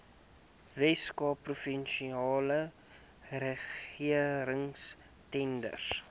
weskaapse provinsiale regeringstenders